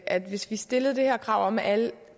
at hvis vi stillede det her krav om at alt